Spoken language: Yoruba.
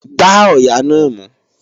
Gbá ọ̀yà náà mú!